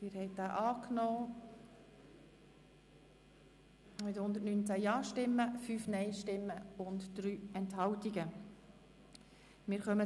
Sie haben dem Artikel 35 mit 120 Ja- gegen 6 Nein-Stimmen bei 2 Enthaltungen zugestimmt.